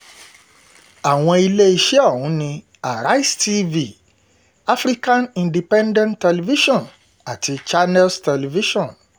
àwọn iléeṣẹ́ ọ̀hún ni àrísẹ̀ tv african independent television àti channels television